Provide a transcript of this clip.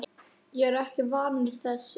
Ég er ekki vanur þessu.